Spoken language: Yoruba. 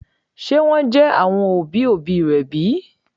Ṣe wọn jẹ àwọn òbí òbí rẹ bi?